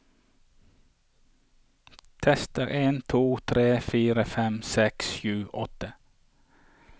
Tester en to tre fire fem seks sju åtte